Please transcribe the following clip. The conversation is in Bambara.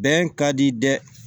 Bɛn ka di dɛ